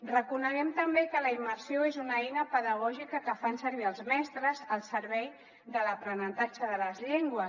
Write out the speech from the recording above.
reconeguem també que la immersió és una eina pedagògica que fan servir els mestres al servei de l’aprenentatge de les llengües